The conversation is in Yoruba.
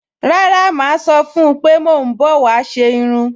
Rárá, màá sọ fún-un pé mò ń bọ̀ wá ṣe irun